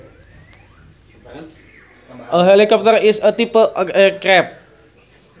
A helicopter is a type of aircraft